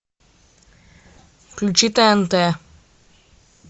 включи тнт